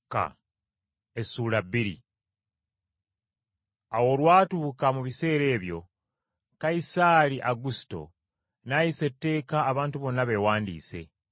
Awo olwatuuka mu biseera ebyo, Kayisaali Agusito n’ayisa etteeka abantu bonna beewandiisa.